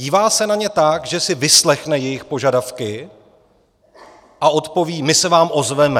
Dívá se na ně tak, že si vyslechne jejich požadavky a odpoví: My se vám ozveme.